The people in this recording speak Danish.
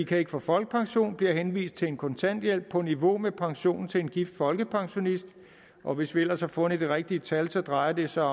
kan ikke få folkepension og bliver henvist til en kontanthjælp på niveau med pensionen til en gift folkepensionist og hvis vi ellers har fundet det rigtige tal tal drejer det sig